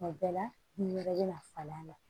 Tuma bɛɛ la ni wɛrɛ bɛna falen a la